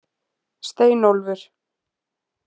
Steinólfur